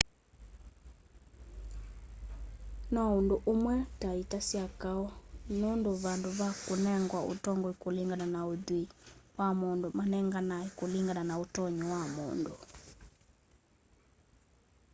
no ũndũ ũmwe na ita sya kaũ nũndũ vandũ va kũnengwa ũtongoĩ kũlĩngana na ũthwĩĩ wa mũndũ manenganaa kũlĩngana na ũtonyĩ wa mũndũ